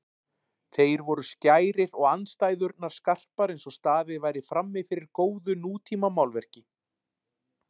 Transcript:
Þeir voru skærir og andstæðurnar skarpar einsog staðið væri frammifyrir góðu nútímamálverki.